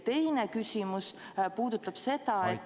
Teine küsimus puudutab seda, et ...